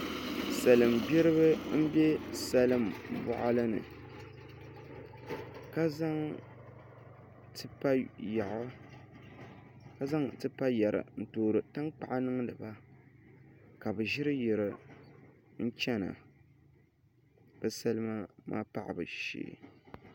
Salin gbiribi n bɛ salin boɣali ni ka zaŋ tipa yɛri n toori tankpaɣu niŋdi ba ka bi ʒiri yiri n chɛna bi salima maa paɣabu shee